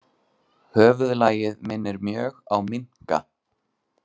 Höfuðlagið minnir mjög á minka.